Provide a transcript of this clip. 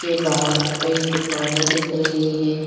के बाहर कई दुकानें दिख रही हैं ।